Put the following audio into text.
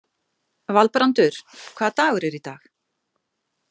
Valbrandur, hvaða dagur er í dag?